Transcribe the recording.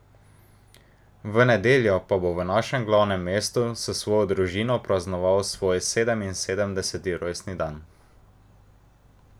V nedeljo pa bo v našem glavnem mestu s svojo družino praznoval svoj sedeminsedemdeseti rojstni dan.